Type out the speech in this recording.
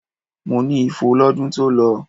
Mo ní ifo lọ́dún tó lọ.